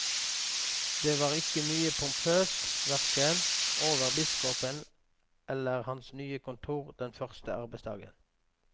Det var ikke mye pompøst hverken over biskopen eller hans nye kontor den første arbeidsdagen.